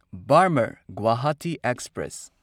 Barmer Guwahati express